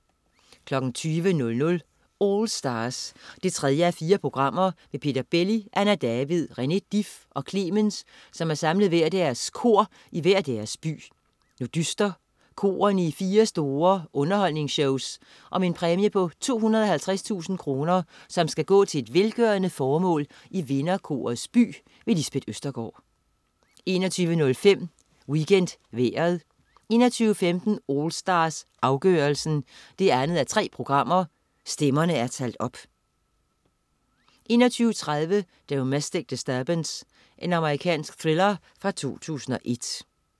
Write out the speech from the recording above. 20.00 AllStars 3:4. Peter Belli, Anna David, René Dif og Clemens har samlet hvert deres kor i hver deres by. Nu dyster korene i fire store underholdningsshows om en præmie på 250.000 kroner, som skal gå til et velgørende formål i vinderkorets by. Lisbeth Østergaard 21.05 WeekendVejret 21.15 AllStars, afgørelsen 2:3. Stemmerne er talt op 21.30 Domestic Disturbance. Amerikansk thriller fra 2001